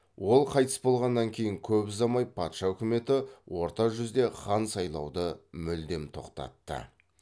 ол қайтыс болғаннан кейін көп ұзамай патша өкіметі орта жүзде хан сайлауды мүлдем тоқтатты